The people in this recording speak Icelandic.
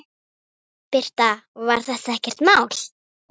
Birta: Var þetta ekkert mál?